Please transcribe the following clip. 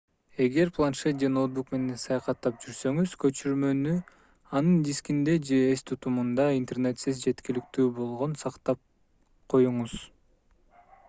эгер планшет же ноутбук менен саякаттап жүрсөңүз көчүрмөнү анын дискинде же эс тутумунда интернетсиз жеткиликтүү болгон сактап коюңуз